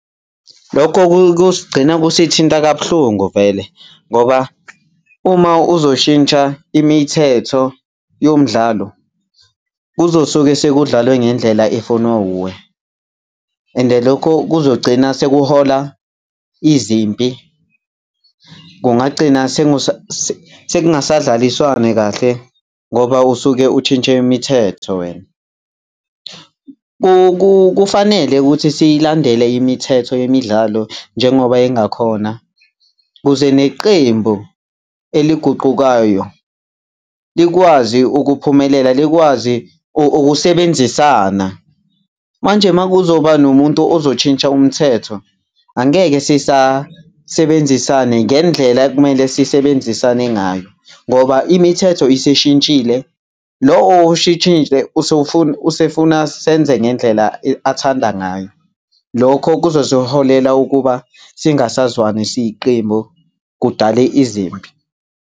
Lokho kuyosigcina kusithinta kabuhlungu vele ngoba uma uzoshintsha imithetho yomdlalo kuzosuke sekudlalwe ngendlela efuna wuwe. And lokho kuzogcina sekuhola izimpi, kungagcina sekungasadlaliswane kahle ngoba usuke utshintshe imithetho wena. Kufanele ukuthi siyilandele imithetho yemidlalo njengoba ingakhona kuze neqembu eliguqukayo likwazi ukuphumelela, likwazi ukusebenzisana. Manje uma kuzoba nomuntu ozotshintsha umthetho angeke sisasebenzisane ngendlela ekumele sisebenzisane ngayo ngoba imithetho isishintshile. Lo owutshintshile usefuna senze ngendlela athanda ngayo. Lokho kuzosiholela ukuba singasazwani siyiqembu, kudale izimpi.